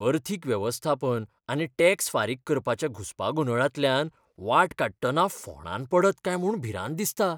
अर्थीक वेवस्थापन आनी टॅक्स फारीक करपाच्या घुसपागोंदळांतल्यान वाट काडटना फोंडांत पडत काय म्हूण भिरांत दिसता.